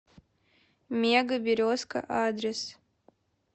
мега березка адрес